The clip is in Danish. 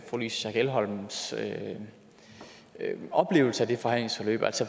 louise schack elholms oplevelse af det forhandlingsforløb